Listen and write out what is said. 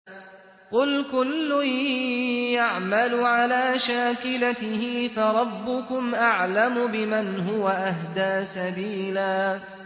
قُلْ كُلٌّ يَعْمَلُ عَلَىٰ شَاكِلَتِهِ فَرَبُّكُمْ أَعْلَمُ بِمَنْ هُوَ أَهْدَىٰ سَبِيلًا